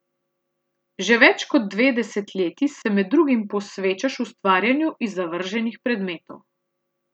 Že več kot dve desetletji se med drugim posvečaš ustvarjanju iz zavrženih predmetov.